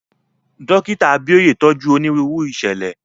Dókítà Abíóyè tọ́jú onírúurú ìṣẹ̀lẹ̀.